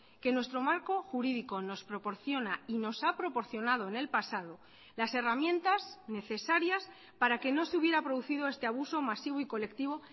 que nuestro marco jurídico nos proporciona y nos ha proporcionado en el pasado las herramientas necesarias para que no se hubiera producido este abuso masivo y colectivo